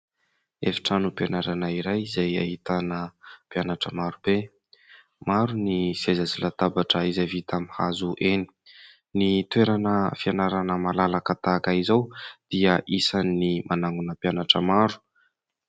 Efitranom-pianarana iray izay ahitana mpianatra maro be ; maro ny seza sy latabatra izay vita amin'ny hazo eny. Ny toerana fianarana malalaka tahaka izao dia isan'ny manangona mpianatra maro.